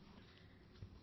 ఒకటో phone call